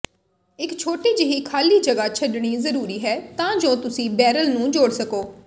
ਇੱਕ ਛੋਟੀ ਜਿਹੀ ਖਾਲੀ ਜਗ੍ਹਾ ਛੱਡਣੀ ਜ਼ਰੂਰੀ ਹੈ ਤਾਂ ਜੋ ਤੁਸੀਂ ਬੈਰਲ ਨੂੰ ਜੋੜ ਸਕੋ